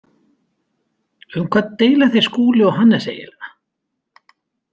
Um hvað deila þeir Skúli og Hannes eiginlega?